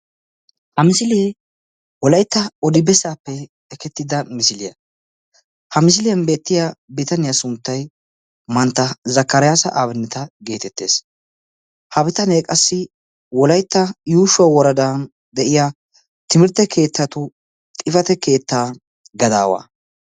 Ha misilee wolaytta odi bessaappe ekettida misiliya. Ha misiliyan beettiya bitaniya sunttayi mantta zakkariyasa abineta geetettes. Ha bitanee qassi wolaytta yuushuwa woradan de'iya timirtte keettatu xifate keettaa gadaawaa.